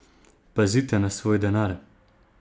Pazite na svoj denar!